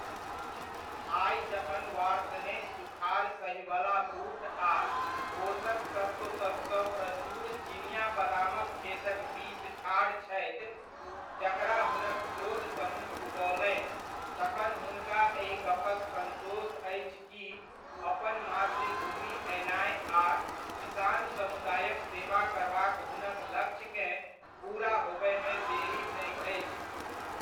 आइ जखन वार्ष्णेय सुखाड़ सहिवला बूट आ पोषक तत्वसभसँ प्रचूर चिनिआ बदामक खेतक बीच ठाढ़ छथि, जकरा हुनक शोध समूह उगओलनि, तखन हुनका एहि गप्पक संतोष अछि कि अपन मातृभूमि अयनाय आ किसान समुदायक सेवा करबाक हुनक लक्ष्यकेँ पूरा होबयमे देरी नहि अछि।